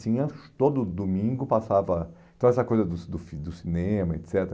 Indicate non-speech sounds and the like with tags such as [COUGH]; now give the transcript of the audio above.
Tinha... Todo domingo passava... Então, essa coisa do [UNINTELLIGIBLE] do cinema, et cetera.